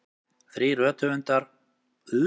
Þrír rithöfundar sæmdir heiðursdoktorsnafnbót